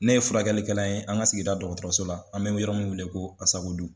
Ne ye furakɛlikɛla ye an ka sigida dɔgɔtɔrɔso la an bɛ yɔrɔ min wele ko ASACODU